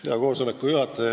Hea koosoleku juhataja!